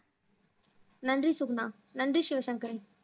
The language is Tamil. நன்றி சுகுணா நன்றி சிவசங்கரி